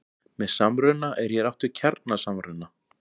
Með samruna er hér átt við kjarnasamruna.